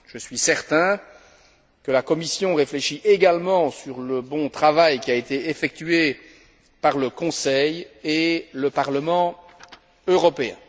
Je suis certain que la Commission réfléchit également au bon travail qui a été effectué par le Conseil et le Parlement européen.